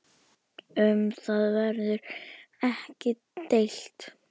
Um það verður ekki deilt.